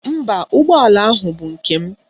Mba, ụgbọala ahụ bụ nke m.